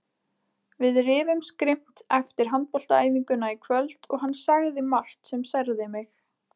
Við rifumst grimmt eftir handboltaæfinguna í kvöld og hann sagði margt sem særði mig.